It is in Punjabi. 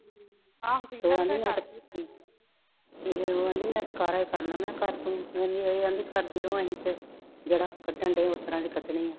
ਆਹੋ ਠੀਕ ਆ ਉਹ ਕਾਹਦੀ ਮੈ ਤਾ ਉਹ ਕਾਹਦੀ ਮੈ ਤਾ ਕਾਰਾ ਹੀ ਕਰਨਾ ਮੈ ਕਿਹਾ ਕਰ ਤੂੰ ਓ ਵੀ ਕਰਦੀ ਉਹ ਕਾਹਦੀ ਆਵੀ ਕਰਦੀ ਰਾਹੁ ਆਵੀ ਫਰ ਜਾਂਢਾ ਕੱਢ ਰਹੀ ਹੈ ਉਹ ਤਾ ਕੱਢਣਾ ਹੀ ਹੈ